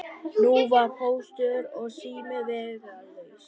Nú var Póstur og sími vegalaus.